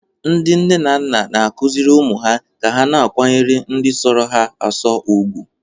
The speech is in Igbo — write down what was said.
Ndị nne na nna na-akụziri ụmụ ha ka ha na-akwanyere ndị sọrọ ha asọ ùgwù.